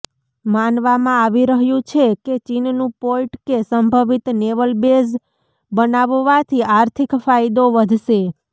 માનવામાં આવી રહ્યું છે કે ચીનનું પોર્ટ કે સંભવિત નેવલ બેઝ બનાવવાથી આર્થિક ફાયદો વધશે